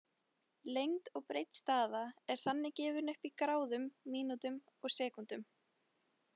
Lengd og breidd staða er þannig gefin upp í gráðum, mínútum og sekúndum.